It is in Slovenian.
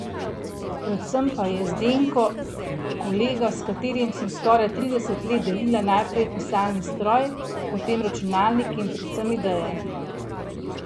Predvsem pa je Zdenko kolega, s katerim sem skoraj trideset let delila najprej pisalni stroj, potem računalnik in predvsem ideje.